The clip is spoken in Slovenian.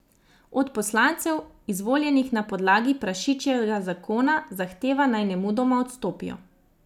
Od poslancev, izvoljenih na podlagi prašičjega zakona, zahteva, naj nemudoma odstopijo.